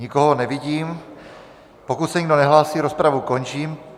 Nikoho nevidím, pokud se nikdo nehlásí, rozpravu končím.